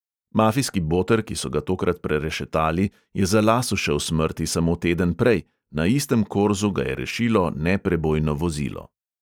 Mafijski boter, ki so ga tokrat prerešetali, je za las ušel smrti samo teden prej; na istem korzu ga je rešilo neprebojno vozilo.